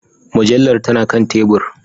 Mujallar tana kan tebur